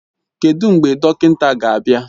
Kedụ mgbe dọkịnta ga-abịa?